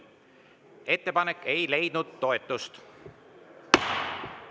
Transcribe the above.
Ettepanek ei leidnud toetust.